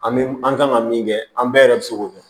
An bɛ an kan ka min kɛ an bɛɛ yɛrɛ bɛ se k'o kɛ